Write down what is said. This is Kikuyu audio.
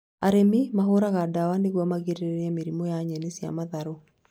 Arĩmi mahũraga ndawa nĩguo magirĩrĩrie mĩrimũ ya nyeni cia matharũ